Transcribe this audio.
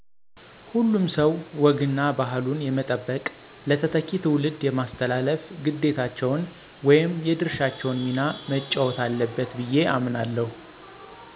" ሁሉም ሰዉ ወግ እና ባህሉን የመጠበቅ ለተተኪ ትዉልድ የማስተላለፍ ግዴታቸውን ወይም የድርሻውን ሚና መጫወት አለበት ብየ አምናለሁ "።